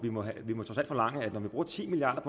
forlange at når vi bruger ti milliard